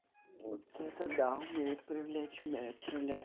вот это умеет привлечь умеет